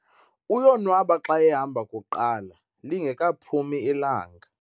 Uyonwaba xa ehamba kuqala, lingekaphumi ilanga